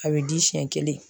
A bɛ di siɲɛ kelen.